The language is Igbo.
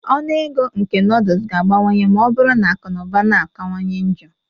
Ọnụ ego nke nodles ga-abawanye ma ọ bụrụ na akụ na ụba na-akawanye njọ